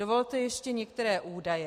Dovolte ještě některé údaje.